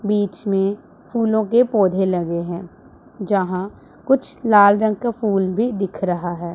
बीच में फूलों के पौधे लगे हैं जहां कुछ लाल रंग का फूल भी दिख रहा है।